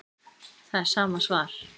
Það er sama svar